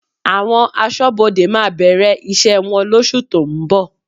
Àwọn Aṣọ́bodè máa bẹ̀rẹ̀ iṣẹ́ wọn lóṣù tó ń bọ̀